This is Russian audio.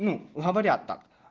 ну говорят так